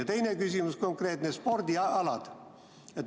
Mu teine küsimus on konkreetne, spordialad.